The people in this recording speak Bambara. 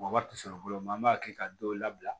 Mɔgɔ wɛrɛ tɛ sɔrɔ fɔlɔ an b'a kɛ ka dɔw labila